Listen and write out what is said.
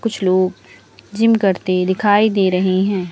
कुछ लोग जिम करते दिखाई दे रहे हैं।